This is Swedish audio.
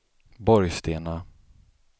Borgstena